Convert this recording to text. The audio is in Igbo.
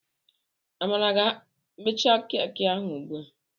Amara ga ha emecha keki ahụ ugbu a.